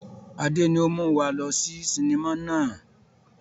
Adé ni ó mú wá lọ sí sinimá náà